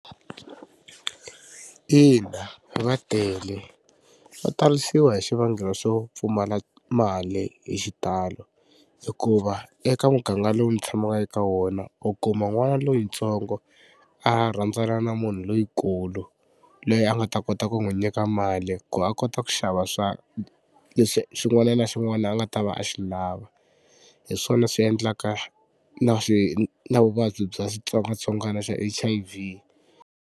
Ina va tele, va talisiwa hi xivangelo xo pfumala mali hi xitalo hikuva eka muganga lowu ndzi tshamaka eka wona u kuma n'wana loyintsongo a rhandzana na munhu loyikulu loyi a nga ta kota ku n'wi nyika mali ku a kota ku xava leswi xin'wana na xin'wana a nga ta va a xi lava hi swona swi endlaka na swi na vuvabyi bya xitsongwatsongwana xa H_I_V.